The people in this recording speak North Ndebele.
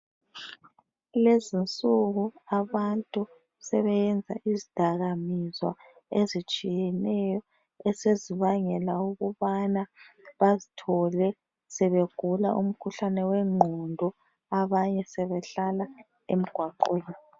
Kulezinsuku abantu sebeyenza izdakamizwa ezitshiyeneyo esezibangela ukubana bazthole sebegula umkhuhlane wengqondo abanye sebehlala emgwaqweni.